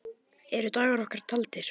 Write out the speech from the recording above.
Eru dagar okkar taldir?